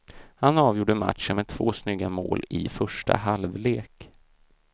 Han avgjorde matchen med två snygga mål i första halvlek.